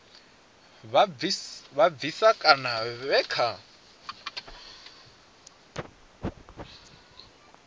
vha bvisa kana vhe vha